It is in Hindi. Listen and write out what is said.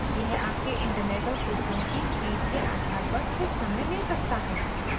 यह आपके इंटरनेट और सिस्टम की स्पीड के आधार पर कुछ समय ले सकता है